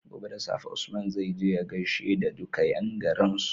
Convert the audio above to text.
Gobe da safe Usman zai je ya gashe da duka yan garin su